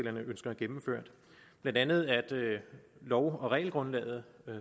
ønsker gennemført blandt andet er lov og regelgrundlaget